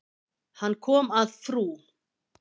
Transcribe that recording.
Hann kom að frú